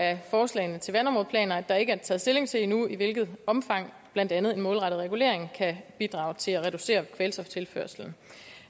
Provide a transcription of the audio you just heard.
af forslagene til vandområdeplaner at der ikke er taget stilling til endnu i hvilket omfang blandt andet en målrettet regulering kan bidrage til at reducere kvælstoftilførslen